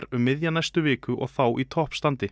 um miðja næstu viku og þá í toppstandi